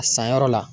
A san yɔrɔ la